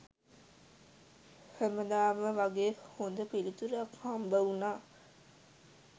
හැමදාම වගේ හොඳ පිළිතුරක් හම්බ වුනා